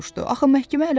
Axı məhkəmə hələ başlamayıb.